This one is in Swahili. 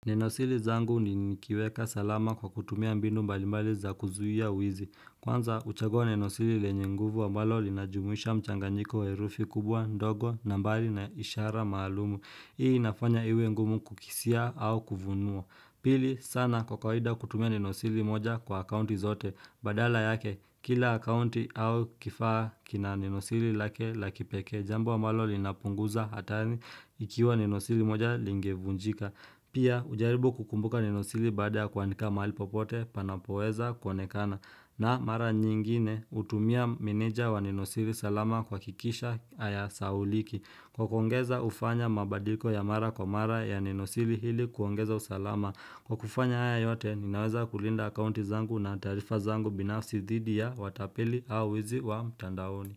Neno siri zangu ni nikiweka salama kwa kutumia mbinu mbalimbali za kuzuia uwizi. Kwanza, huchagoa neno siri lenye nguvu ambalo linajumuisha mchanganyiko wa herufi kubwa, ndogo, na mbali na ishara maalumu. Hii nafanya iwe ngumu kukisia au kuvunua. Pili, sana kwa kawaida kutumia neno siri moja kwa akaunti zote. Badala yake, kila akaunti au kifaa kina nenosiri lake la kipekee. Jambo abmalo linapunguza hatari ikiwa nenosiri moja lingevunjika. Pia hujaribu kukumbuka nenosiri baada ya kuandika mahali popote panapoweza kuonekana. Na mara nyingine hutumia meneja wa nenosiri salama kuhakikisha hayasauliki. Kwa kuongeza hufanya mabadiko ya mara kwa mara ya nenosiri hili kuongeza usalama. Kwa kufanya haya yote ninaweza kulinda akaunti zangu na taarifa zangu binafsi dhidi ya watapeli au wizi wa mtandaoni.